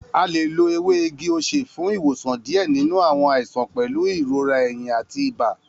A le lo ewe igi ose fun iwosan diẹ ninu awọn aisan pẹlu irora ehin ati iba.